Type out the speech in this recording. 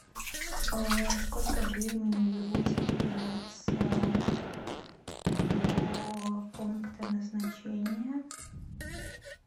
сколько времени вы будете добираться до пункта назначения